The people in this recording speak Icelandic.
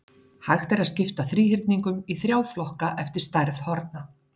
hægt er að skipta þríhyrningum í þrjá flokka eftir stærð horna